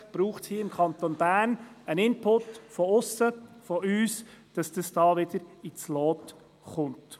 Offensichtlich braucht es hier im Kanton Bern einen Input von aussen, von uns, damit die Chefarztlöhne wieder ins Lot kommen.